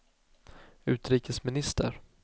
utrikesminister